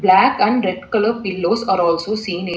Black and red colour pillows are also seen in --